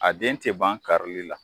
A den tɛ ban karili la.